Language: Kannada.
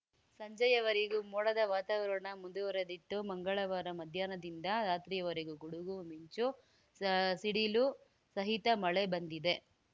ಸಂಜೆಯವರೆಗೂ ಮೋಡದ ವಾತಾವರಣ ಮುಂದುವರಿದಿತ್ತು ಮಂಗಳವಾರ ಮಧ್ಯಾಹ್ನದಿಂದ ರಾತ್ರಿಯವರೆಗೂ ಗುಡುಗು ಮಿಂಚು ಸ ಸಿಡಿಲು ಸಹಿತ ಮಳೆ ಬಂದಿದೆ